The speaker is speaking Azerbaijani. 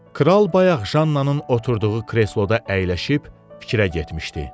Kral bayaq Jannanın oturduğu kresloda əyləşib fikrə getmişdi.